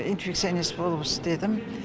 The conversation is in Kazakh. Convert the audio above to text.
инфекционист болып істедім